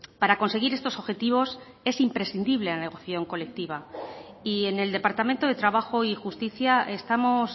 para conseguir estos objetivos es imprescindible la negociación colectiva y en el departamento de trabajo y justicia estamos